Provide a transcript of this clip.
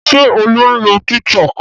Ṣé Olú ń lo Tiktok?